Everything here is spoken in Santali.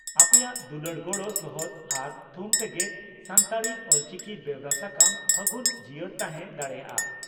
ᱟᱯᱮᱭᱟᱜ ᱫᱩᱞᱟᱹᱲ ᱜᱚᱲᱚ ᱥᱚᱦᱚᱫ ᱟᱨ ᱛᱷᱩᱢ ᱛᱮᱜᱮ ᱥᱟᱱᱛᱟᱲᱤ (ᱚᱞᱪᱤᱠᱤ) ᱵᱮᱣᱨᱟ ᱥᱟᱠᱟᱢ 'ᱯᱷᱟᱹᱜᱩᱱ' ᱡᱤᱭᱟᱹᱲ ᱛᱟᱦᱮᱸ ᱫᱟᱲᱮᱭᱟᱜᱼᱟ ᱾